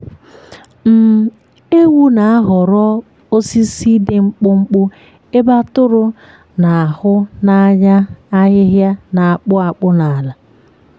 um ewu na-ahọrọ osisi dị mkpụmkpụ ebe atụrụ na-ahụ n’anya ahịhịa na-akpụ akpụ n’ala.